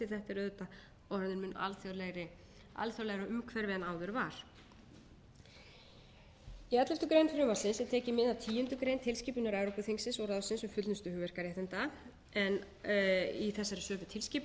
er auðvitað orðið mun alþjóðlegra umhverfi en áður var í elleftu greinar frumvarpsins er tekið mið af tíundu grein tilskipunar evrópuþingsins og ráðsins um fullnustu hugverkaréttinda í þessari sömu tilskipun